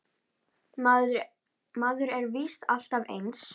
Maður er víst alltaf eins!